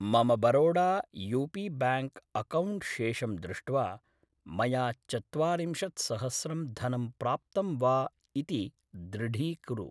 मम Baroda U P bank account शेषं दृष्ट्वा मया चत्वारिंशत्सहस्रं धनं प्राप्तं वा इति दृढीकुरु